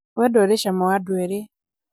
wendo ũrĩ cama wa andũ erĩ